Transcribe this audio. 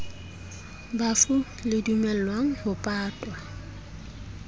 bafu le dumellang ho patwa